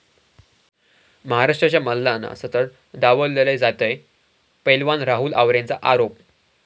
महाराष्ट्राच्या मल्लांना सतत डावललं जातंय, पैलवान राहुल आवरेचा आरोप